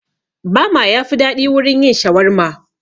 Bama yafi daɗi wurin yin shawarma